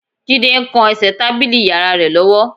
Jídé ń kan ẹsẹ̀ tábìlì yàrá rẹ̀ lọ́wọ́